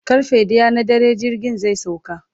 karfe ɗaya na dare jirgin zai sauka